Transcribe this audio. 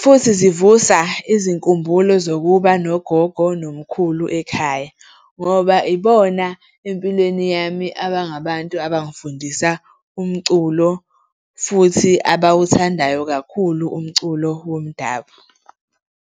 futhi zivusa izinkumbulo zokuba nogogo nomkhulu ekhaya ngoba ibona empilweni yami abangabantu abangifundisa umculo futhi abawuthandayo kakhulu umculo womdabu.